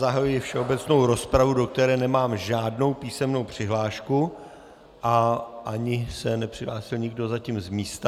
Zahajuji všeobecnou rozpravu, do které nemám žádnou písemnou přihlášku, a ani se nepřihlásil nikdo zatím z místa.